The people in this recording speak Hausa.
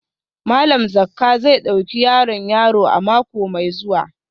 Malam Zakka zai dauki yaron yaro a mako mai zuwa